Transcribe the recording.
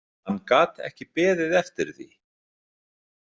Hann gat ekki beðið eftir því.